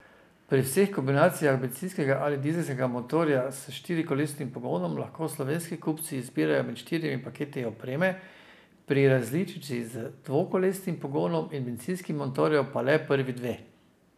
Pri vseh kombinacijah bencinskega ali dizelskega motorja s štirikolesnim pogonom lahko slovenski kupci izbirajo med štirimi paketi opreme, pri različici z dvokolesnim pogonom in bencinskim motorjem pa le prvi dve.